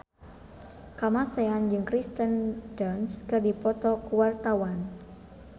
Kamasean jeung Kirsten Dunst keur dipoto ku wartawan